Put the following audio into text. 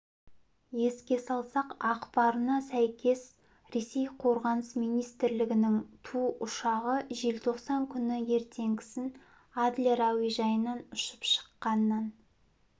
еске салсақ ақпарына сәйкес ресей қорғаныс министрлігінің ту ұшағы желтоқсан күні ертеңгісін адлер әуежайынан ұшып шыққаннан